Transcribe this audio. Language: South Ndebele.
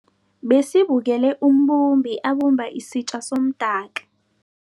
Besibukele umbumbi abumba isitja somdaka.